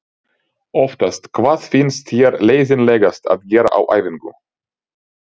oftast Hvað finnst þér leiðinlegast að gera á æfingu?